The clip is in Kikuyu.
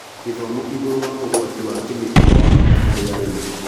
Gĩthomo igũrũ wa ũgwati wa kĩmĩko nĩwabata harĩ arĩmi.